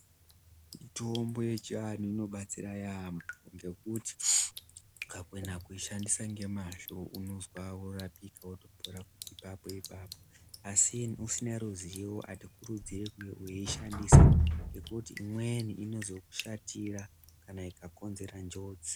Mitombo yechiantu inobatsira yaambo ngekuti ukakona kuishandisa nemazvo unozwa kurapika wotopora ipapo ipapo asi usina ruzivo hatikurudziri kuishandisa ngekuti imweni inozokushatira kana ikakonzera njodzi.